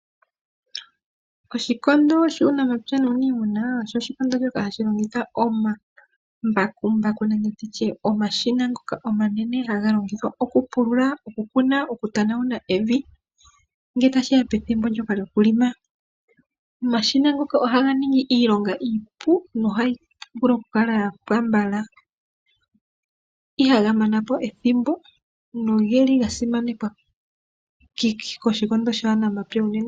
Oshikondo shuunamapya nuunima osho oshikondo shoka hashi longitha omambakumbaku nenge omashina ngoka omanene haga longithwa okupulula, okukuna ,oku tanawuna evi ngele tashiya pethimbo ndjoka lyokulima . Omashina ngoka ohaga ningi iilonga iipu, nohayi vulu okukala yapwa mbala ihaga manapo ethimbo nogeli ga simanekwa koshikondo shuunafaalama unene.